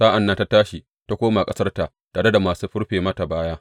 Sa’an nan ta tashi ta koma ƙasarta tare da masu rufe mata baya.